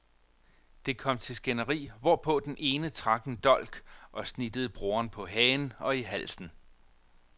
Det kom til skænderi, hvor på den ene trak en dolk og snittede broren på hagen og i halsen.